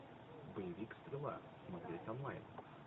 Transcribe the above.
боевик стрела смотреть онлайн